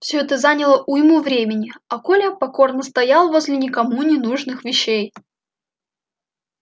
все это заняло уйму времени а коля покорно стоял возле никому не нужных вещей